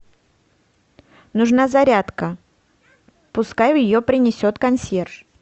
нужна зарядка пускай ее принесет консьерж